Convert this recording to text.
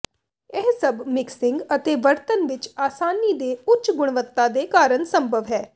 ਇਹ ਸਭ ਮਿਕਸਿੰਗ ਅਤੇ ਵਰਤਣ ਵਿੱਚ ਆਸਾਨੀ ਦੇ ਉੱਚ ਗੁਣਵੱਤਾ ਦੇ ਕਾਰਨ ਸੰਭਵ ਹੈ